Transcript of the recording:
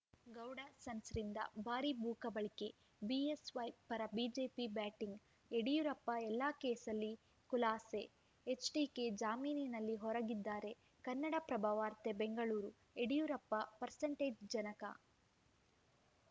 ಗೌಡ ಸನ್ಸ್‌ರಿಂದ ಭಾರೀ ಭೂಕಬಳಿಕೆ ಬಿಎಸ್‌ವೈ ಪರ ಬಿಜೆಪಿ ಬ್ಯಾಟಿಂಗ್‌ ಯಡಿಯೂರಪ್ಪ ಎಲ್ಲ ಕೇಸಲ್ಲಿ ಖುಲಾಸೆ ಎಚ್‌ಡಿಕೆ ಜಾಮೀನಿನಲ್ಲಿ ಹೊರಗಿದ್ದಾರೆ ಕನ್ನಡಪ್ರಭ ವಾರ್ತೆ ಬೆಂಗಳೂರು ಯಡಿಯೂರಪ್ಪ ಪರ್ಸೆಂಟೇಜ್‌ ಜನಕ